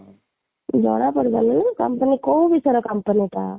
ଜଣା ପଡ଼ିବନି ନା company କୋଉ ବିଷୟରେ company ଟା